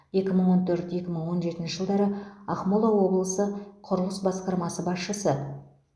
екі мың он төрт екі мың он жетінші жылдары ақмола облысы құрылыс басқармасы басшысы